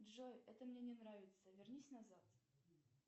джой это мне не нравится вернись назад